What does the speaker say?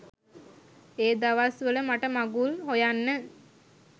ඒ දවස් වල මට මඟුල් හොයන්න